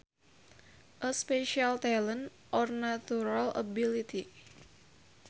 A special talent or natural ability